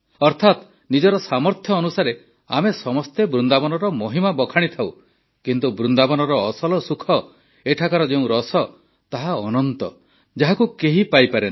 ଅର୍ଥାତ୍ ନିଜର ସାମର୍ଥ୍ୟ ଅନୁସାରେ ଆମେ ସମସ୍ତେ ବୃନ୍ଦାବନର ମହିମା ବଖାଣିଥାଉ କିନ୍ତୁ ବୃନ୍ଦାବନର ଅସଲ ସୁଖ ଏଠାକାର ଯେଉଁ ରସ ତାହା ଅନନ୍ତ ଯାହାକୁ କେହି ପାଇପାରେନା